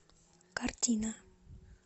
картина